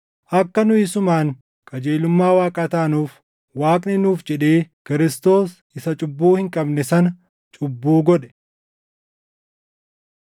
Akka nu isumaan qajeelummaa Waaqaa taanuuf Waaqni nuuf jedhee Kiristoos isa cubbuu hin qabne sana cubbuu godhe.